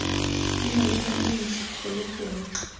di malebana le ntlhakgolo gongwe